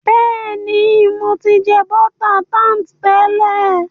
béèni, mọ tí jẹ bota tart tẹlẹ.